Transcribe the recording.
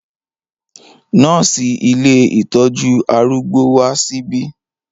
Nọ́ọ̀sì ilé ìtọ́jú arúgbó wá síbí.